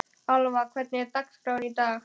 Alva, hvernig er dagskráin í dag?